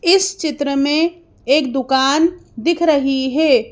इस चित्र में एक दुकान दिख रही है।